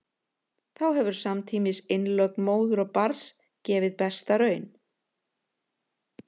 þá hefur samtímis innlögn móður og barns gefið besta raun